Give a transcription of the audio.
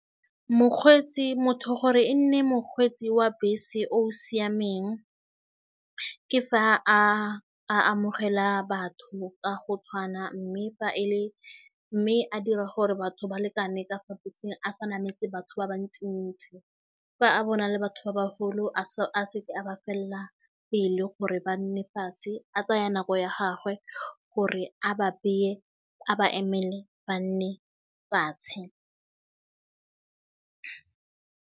Mokgweetsi motho gore e nne mokgweetsi wa bese o o siameng ke fa a a amogela batho ka go tshwana mme fa e le mme a dira gore batho ba lekane ka gore a sa nametse batho ba ba ntsi-ntsi fa a bona le batho ba baholo a se ke a ba felela pele gore ba nne fatshe a tsaya nako ya gagwe gore a ba beye a ba emele ba nne fatshe.